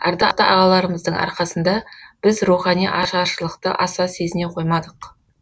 ардақты ағаларымыздың арқасында біз рухани ашаршылықты аса сезіне қоймадық